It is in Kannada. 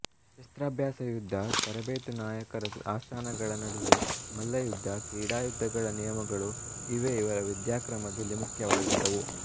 ಶಸ್ತ್ರಾಭ್ಯಾಸ ಯುದ್ಧ ತರಬೇತು ನಾಯಕರ ಆಸ್ಥಾನಗಳ ನಡೆವಳಿ ಮಲ್ಲಯುದ್ಧ ಕ್ರೀಡಾಯುದ್ಧಗಳ ನಿಯಮಗಳು ಇವೇ ಇವರ ವಿದ್ಯಾಕ್ರಮದಲ್ಲಿ ಮುಖ್ಯವಾಗಿದ್ದುವು